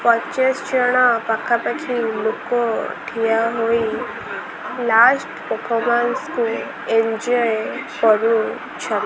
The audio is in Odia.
ପଚାଶ ଜଣ ପାଖା ପାଖି ଲୋକ ଠିଆ ହୋଇ ଲାଷ୍ଟ ପଫର୍ମନ୍ସ କୁ ଏଞ୍ଜୋଅୟ୍ କରୁଛ--